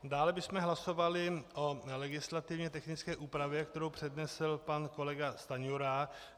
Dále bychom hlasovali o legislativně technické úpravě, kterou přednesl pan kolega Stanjura.